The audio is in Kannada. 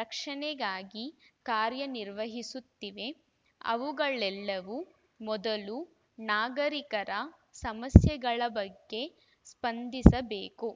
ರಕ್ಷಣೆಗಾಗಿ ಕಾರ್ಯ ನಿರ್ವಹಿಸುತ್ತಿವೆ ಅವುಗಳೆಲ್ಲವೂ ಮೊದಲು ನಾಗರಿಕರ ಸಮಸ್ಯೆಗಳ ಬಗ್ಗೆ ಸ್ಪಂದಿಸಬೇಕು